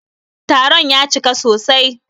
Taron ya cika sosai.